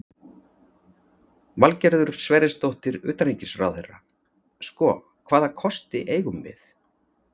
Valgerður Sverrisdóttir, utanríkisráðherra: Sko, hvaða kosti eigum við?